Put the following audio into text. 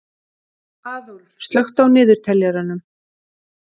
Aðólf, slökktu á niðurteljaranum.